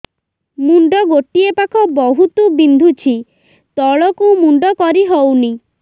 ମୁଣ୍ଡ ଗୋଟିଏ ପାଖ ବହୁତୁ ବିନ୍ଧୁଛି ତଳକୁ ମୁଣ୍ଡ କରି ହଉନି